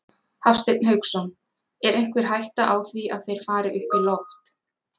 Hafsteinn Hauksson: Er einhver hætta á því að þeir fari upp í loft?